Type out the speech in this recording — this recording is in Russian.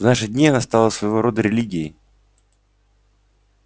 в наши дни она стала своего рода религией